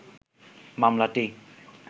মামলাটি